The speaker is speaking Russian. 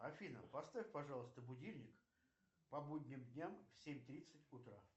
афина поставь пожалуйста будильник по будним дням в семь тридцать утра